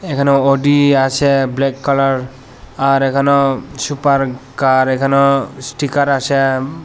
এখানো Audi আছে black colour আর এখানো সুপার কার এখানো স্টিকার আছে উম--